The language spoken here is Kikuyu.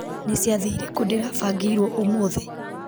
nĩ ciathĩ irĩkũ ndĩrabangĩirwo ũmũthĩ